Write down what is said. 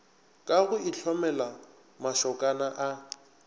ka go itlhomela mašokana a